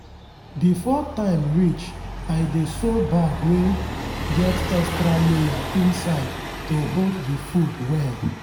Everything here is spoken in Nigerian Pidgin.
before time reach i dey sew bag wey get extra layer inside to hold the food well.